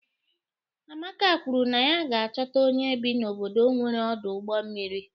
Amaka kwuru na ya ga-achọta onye bi n'obodo nwere ọdụ ụgbọ mmiri.